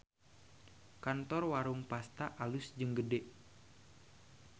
Kantor Warung Pasta alus jeung gede